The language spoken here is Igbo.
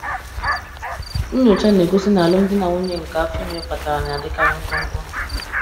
Nnyocha na-egosi na alụmdi na nwunye nke afọ ime kpatara na-adịkarị mkpụmkpụ.